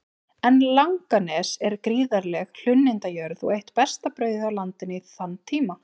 En Langanes er gríðarleg hlunnindajörð og eitt besta brauðið á landinu í þann tíma.